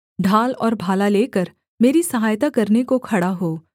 ढाल और भाला लेकर मेरी सहायता करने को खड़ा हो